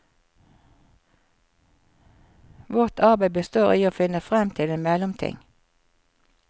Vårt arbeid består i å finne frem til en mellomting.